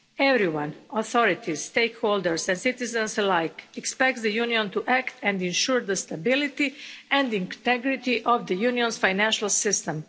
us. Everyone authorities, stakeholders and citizens alike expects the Union to act and ensure the stability and integrity of the Union's financial system.